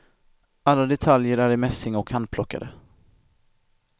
Alla detaljer är i mässing och handplockade.